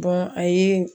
a ye